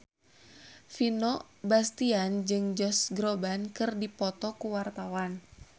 Vino Bastian jeung Josh Groban keur dipoto ku wartawan